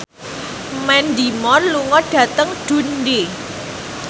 Mandy Moore lunga dhateng Dundee